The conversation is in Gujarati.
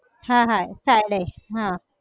હા હા ચાલે હાં